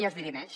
i es dirimeix